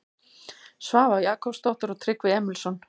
Svava Jakobsdóttir og Tryggvi Emilsson.